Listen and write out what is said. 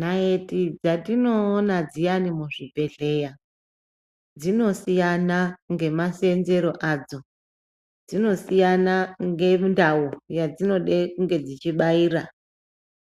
Nayeti dzatinoona dziyani muzvibhehleya dzinosiyana ngemaseenzero adzo, dzinosiyana ngendau yadzinode kunge dzichibaira,